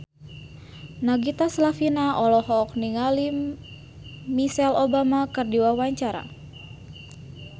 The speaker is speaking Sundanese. Nagita Slavina olohok ningali Michelle Obama keur diwawancara